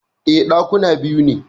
E, Ɗakuna biyu ne